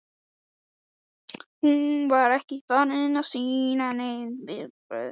Hún var ekki farin að sýna nein viðbrögð umfram undrunina.